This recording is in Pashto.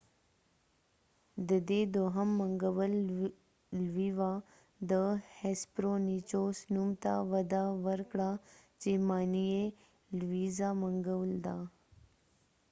د دې دوهم منګول لوی وه د هیسپرونیچوس نوم ته وده ورکړه چې معنی یې لویدیځه منګول ده